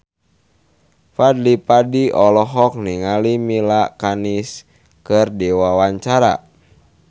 Fadly Padi olohok ningali Mila Kunis keur diwawancara